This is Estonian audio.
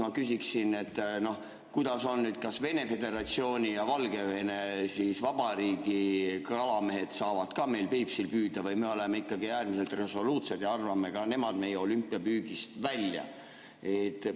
Ma küsiksin, kuidas on, kas Vene föderatsiooni ja Valgevene Vabariigi kalamehed saavad ka meil Peipsil püüda või me oleme ikkagi äärmiselt resoluutsed ja arvame ka nemad meie olümpiapüügist välja.